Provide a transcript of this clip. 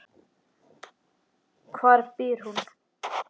Hvar býr hún?